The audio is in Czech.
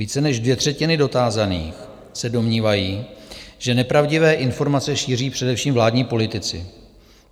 Více než dvě třetiny dotázaných se domnívají, že nepravdivé informace šíří především vládní politici.